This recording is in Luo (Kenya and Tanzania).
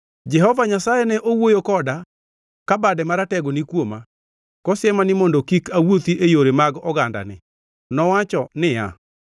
Jehova Nyasaye ne owuoyo koda ka bade maratego ni kuoma, kosiema ni mondo kik awuothi e yore mag ogandani. Nowacho niya,